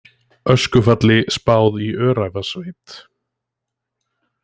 Öskufalli spáð í Öræfasveit